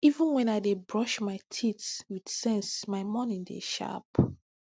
even when i dey brush my teeth with sense my morning dey sharp